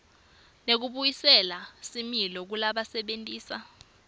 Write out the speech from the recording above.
nekubuyisela similo kulabasebentisa